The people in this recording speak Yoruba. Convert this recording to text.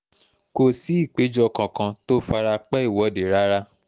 kò sí ìpéjọ kankan tó fara pẹ́ ìwọ́de rárá